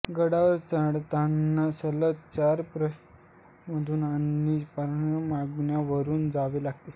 गडावर चढतांना सलग चार प्रवेशद्वारांमधून आणि सर्पाकार मार्गावरून जावे लागते